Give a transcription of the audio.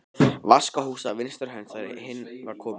Vaskahús á vinstri hönd þegar inn var komið.